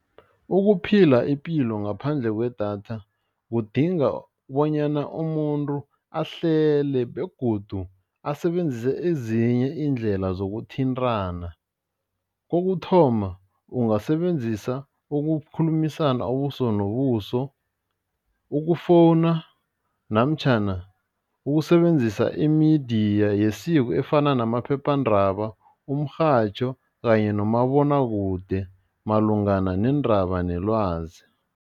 Ukuphila ipilo ngaphandle kwedatha kudinga bonyana umuntu ahlele begodu asebenzise ezinye iindlela zokuthintana, kokuthoma, ungasebenzisa ukukhulumisana ubuso nobuso, ukufowuna namtjhana ukusebenzisa imidiya yesiko efana namaphephandaba, umrhatjho kanye nomabonwakude malungana neendaba nelwazi.